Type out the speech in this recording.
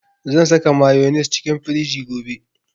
Zan saka mayonnaise cikin firiji gobe